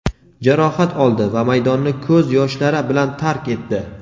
jarohat oldi va maydonni ko‘z yoshlari bilan tark etdi.